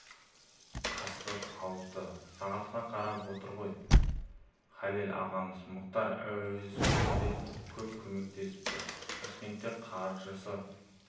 қасқыр алыпты сағатқа қарап отырған ғой халел ағамыз мұхтар әуезовке де көп көмектесіпті ташкентте қаржысы